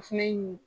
O fɛnɛ ye mun ye